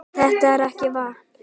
Þetta er ekki vatn!